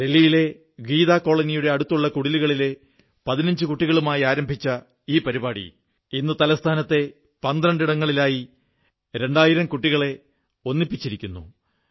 ദില്ലിയിലെ ഗീതാ കോളനിയുടെ അടുത്തുള്ള കുടിലുകളിലെ 15 കുട്ടികളുമായി ആരംഭിച്ച ഈ പരിപാടി ഇന്ന് തലസ്ഥാനത്തെ 12 ഇടങ്ങളിലായി രണ്ടായിരം കുട്ടികളെ ഒന്നിപ്പിച്ചിരിക്കുന്നു